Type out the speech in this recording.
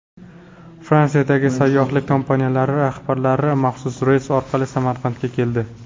Fransiyadagi sayyohlik kompaniyalari rahbarlari maxsus reys orqali Samarqandga keldi.